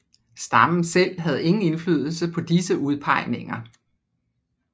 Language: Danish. Stammen selv havde ingen indflydelse på disse udpegninger